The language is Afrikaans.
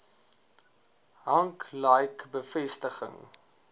hank like bevestiging